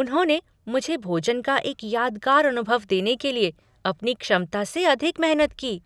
उन्होंने मुझे भोजन का एक यादगार अनुभव देने के लिए अपनी क्षमता से अधिक मेहनत की।